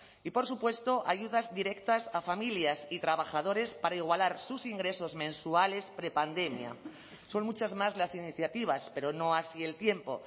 y por supuesto ayudas directas a familias y trabajadores para igualar sus ingresos mensuales prepandemia son muchas más las iniciativas pero no así el tiempo